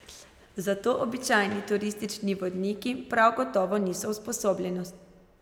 Za to običajni turistični vodniki prav gotovo niso usposobljeni.